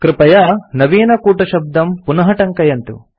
कृपया नवीनकूटशब्दं पुनः टङ्कयन्तु